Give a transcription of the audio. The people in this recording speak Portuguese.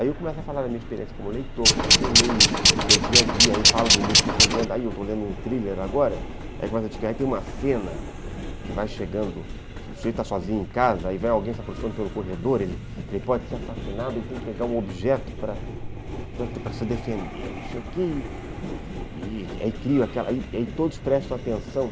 Aí eu começo a falar da minha experiência como leitor, como é que eu leio meu dia a dia, aí falo do livro que eu estou lendo, aí eu estou lendo um thriller agora, aí tem uma cena que vai chegando, se você está sozinho em casa, aí vai alguém se aproximando pelo corredor, ele pode ser assassinado, ele tem que pegar um objeto para para se defender, não sei o quê, e aí crio aquela, aí todos prestam atenção.